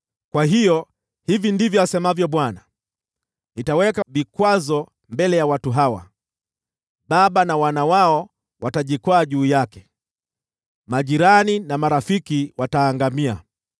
Kwa hiyo hivi ndivyo asemavyo Bwana : “Nitaweka vikwazo mbele ya watu hawa. Baba na wana wao watajikwaa juu yake, majirani na marafiki wataangamia.”